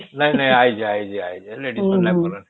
ନାଇଁ ଯେ ନାଇଁ ଯେ ଆଇଛେ ladies ମାନେ କା